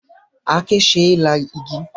Àáké ṣe é la igi.